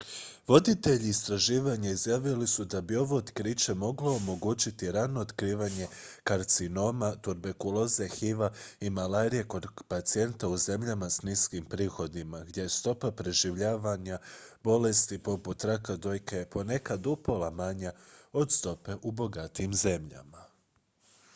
voditelji istraživanja izjavili su da bi ovo otkriće moglo omogućiti rano otkrivanje karcinoma tuberkuloze hiv-a i malarije kod pacijenata u zemljama s niskim prihodima gdje je stopa preživljavanja bolesti poput raka dojke ponekad upola manja od stope u bogatijim zemljama